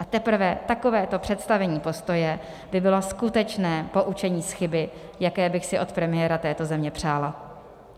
A teprve takovéto představení postoje by bylo skutečné poučení z chyby, jaké bych si od premiéra této země přála.